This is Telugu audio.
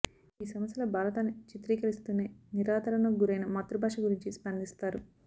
ఈ సమస్యల భారతాన్ని చిత్రీకరిస్తూనే నిరాదరణకు గురైన మాతృభాష గురించి స్పందిస్తారు